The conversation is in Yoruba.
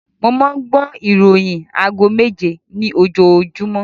Mo máa ń gbọ́ ìroyìn aago méje ní ojoojúmọ́